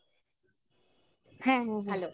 হ্যাঁ হ্যাঁ